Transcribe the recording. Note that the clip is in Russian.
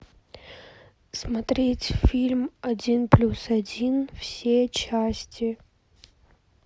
смотреть фильм один плюс один все части